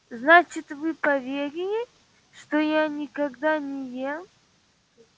значит вы поверили что я никогда не ем